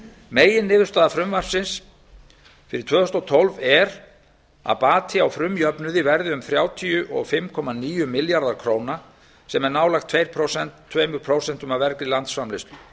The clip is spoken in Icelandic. meginniðurstaða frumvarpsins fyrir tvö þúsund og tólf er að bati á frumjöfnuði verði um þrjátíu og fimm komma níu milljarðar króna sem er nálægt tvö prósent af vergri landsframleiðslu